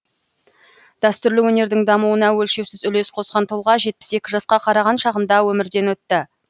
дәстүрлі өнердің дамуына өлшеусіз үлес қосқан тұлға жетпіс екі жасқа қараған шағында өмірден өтті